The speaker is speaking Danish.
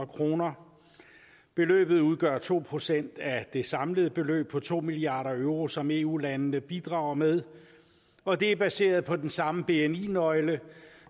kroner beløbet udgør to procent af det samlede beløb på to milliard euro som eu landene bidrager med og det er baseret på den samme bni nøgle